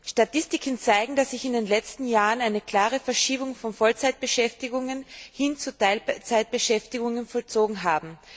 Statistiken zeigen, dass sich in den letzten Jahren eine klare Verschiebung von Vollzeitbeschäftigungen hin zu Teilzeitbeschäftigungen vollzogen hat.